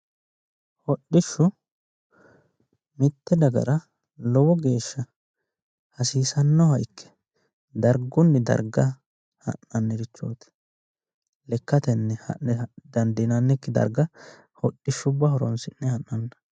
Hodhishshu mite dagara lowo geeshsha hasiisanoha ikke wole darga ha'nannirichoti ,lekkatenni ha'ne dandiinannikki darga hodhishshuwa horonsi'ne ha'nanni